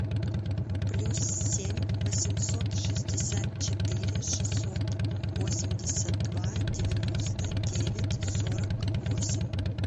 плюс семь восемьсот шестьдесят четыре шестьсот восемьдесят два девяносто девять сорок восемь